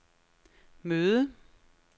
møde